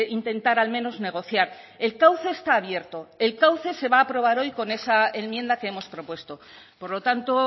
intentar al menos negociar el cauce está abierto el cauce se va a aprobar hoy con esa enmienda que hemos propuesto por lo tanto